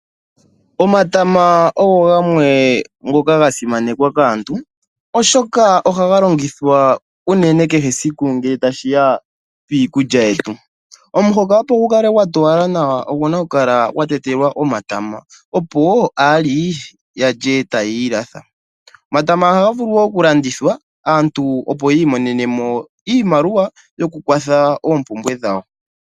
Omatama oga simanekwa kaantu oshoka ohaga longithwa kehe esiku unene ngele tashiya piikulya yetu. Omuhoka opo gu kale gwatowala nawa oguna oku kala gwatetelwa omatama, opo aali yalye tayiilatha. Omatama ihaga vulu wo okulandithwa, opo aantu ya mone iiyemo.